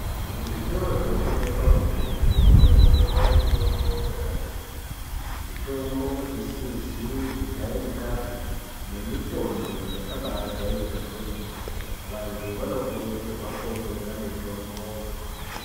Muzvitoro zvinotengeswa mitombo, munotengeswa mitombo yakati kuti. Mitombo isizi kujairikapi nemitombo yakabaajairika kwemene. Vantu vanokurudzirwa kootenga mitomboyo.